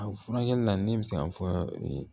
A furakɛli la ne bɛ se k'a fɔ